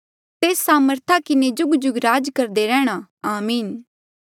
तेस सामर्था किन्हें जुगजुग राज करदा रेहणा आमीन